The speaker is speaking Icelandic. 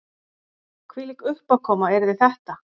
Hvílík uppákoma yrði þetta